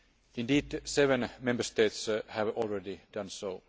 Indeed, seven Member States have already done so.